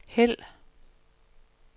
hæld